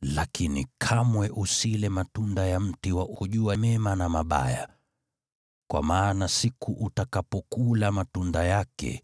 lakini kamwe usile matunda ya mti wa kujua mema na mabaya, kwa maana siku utakapokula matunda yake,